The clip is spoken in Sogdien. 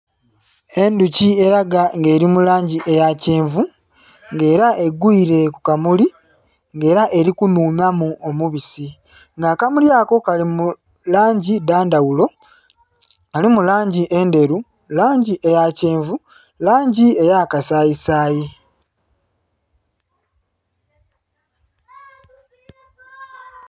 Endhuki elaga nga eli mu langi eya kyenvu, nga ela egwile ku kamuli, nga ela eli kunhunhamu omubisi. Nga akamuli ako kali mu langi dha ndhaghulo- mulimu langi endheru, langi eya kyenvu, langi eya kasayisayi.